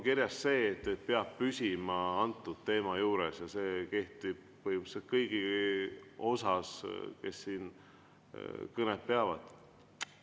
Kirjas on see, et peab püsima teema juures, ja see kehtib põhimõtteliselt kõigi suhtes, kes siin kõnet peavad.